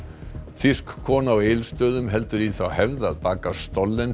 þýsk kona á Egilsstöðum heldur í þá hefð að baka